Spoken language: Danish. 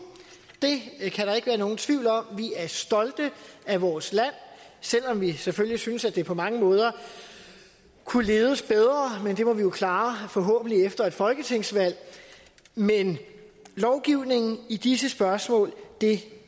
det kan der ikke være nogen tvivl om vi er stolte af vores land selv om vi selvfølgelig synes at det på mange måder kunne ledes bedre men det må vi jo klare forhåbentlig efter et folketingsvalg men lovgivning i disse spørgsmål